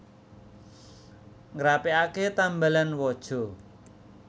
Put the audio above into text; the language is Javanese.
Ngrapiake tambalan waja